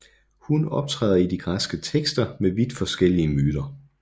Hun optræder i de græske tekster med vidt forskellige myter